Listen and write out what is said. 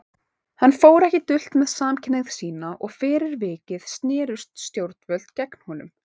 Hann fór ekki dult með samkynhneigð sína og fyrir vikið snerust stjórnvöld gegn honum.